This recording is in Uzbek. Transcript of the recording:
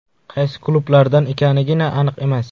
Qaysi klublardan ekanigina aniq emas.